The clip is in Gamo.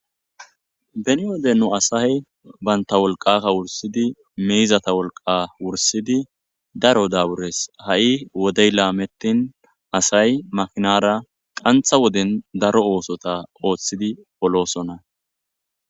Beni wodennu asay baynta wolqakka wursidi miizata wolqa wursidi daro dawures ha'i wodey laametin asay makinara qantha woden daro oosota ooththidi polosona.